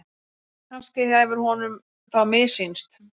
Kannski hefur honum þá missýnst.